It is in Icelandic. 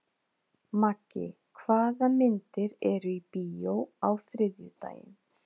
Maggi, hvaða myndir eru í bíó á þriðjudaginn?